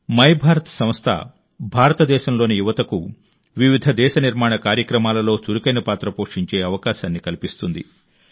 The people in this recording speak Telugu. మైభారత్ సంస్థ భారతదేశంలోని యువతకు వివిధ దేశ నిర్మాణ కార్యక్రమాలలో చురుకైన పాత్ర పోషించే అవకాశాన్ని కల్పిస్తుంది